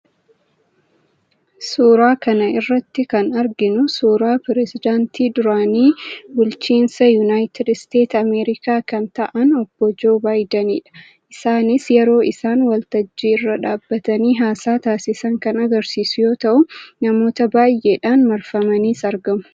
Suuraa kana irratti kan arginu suuraa piresidaantii duraanii bulchiinsa Unaayitid Isteet Ameerikaa kan ta'an, obbo Joo Baayidenidha. Isaanis yeroo isaan waltajjii irra dhaabbatanii haasaa taasisan kan agarsiisu yoo ta'u, namoota baay'eedhaan marfaniis argamu.